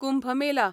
Kumbh Mela